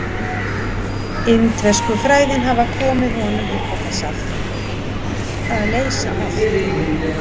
Indversku fræðin hafa komið honum upp á þessa afþreyingu: að leysa allt upp.